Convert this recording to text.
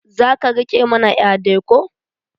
Za ka riƙa mana ƴa dai ko?